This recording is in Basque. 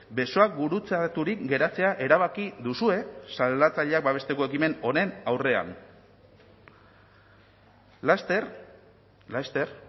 besoak gurutzaturik geratzea erabaki duzue salatzaileak babesteko ekimen honen aurrean laster laster